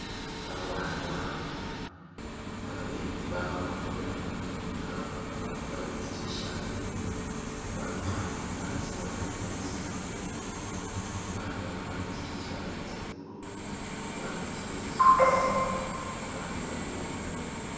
Abana khabenyaya nga bakwarire tsi tshirt bafukhamile asi abandi basitamile balala bakwarile tsi tshirt tsa blue abandi tsi mbesemu babandi bali bukhuna .